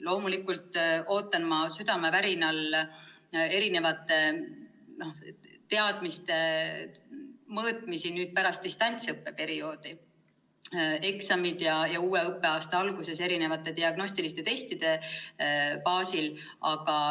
Loomulikult ootan ma südamevärinal õpilaste teadmiste mõõtmisi nüüd pärast distantsõppe perioodi, eksamite ja uue õppeaasta alguses tehtavate diagnostiliste testide baasil.